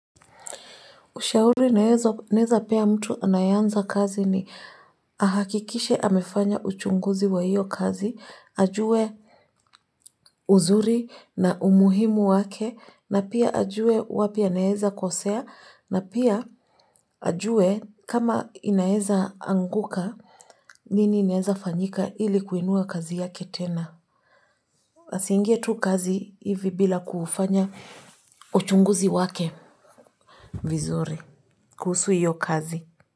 Ushauri ninaowezampa mtu anayeanza kazi ni ahakikishe amefanya uchunguzi wa hiyo kazi, ajue uzuri na umuhimu wake, na pia ajue wapi anaweza kosea, na pia ajue kama inaeza anguka nini inaeza fanyika ili kuinua kazi yake tena. Asiingie tu kazi hivi bila kufanya uchunguzi wake vizuri kuhusu hiyo kazi.